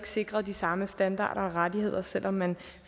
sikret de samme standarder og rettigheder selv om man